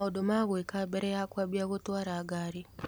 Maũndũ ma gũĩka mbere ya kũambia gũtũara ngari.